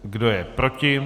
Kdo je proti?